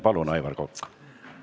Palun, Aivar Kokk!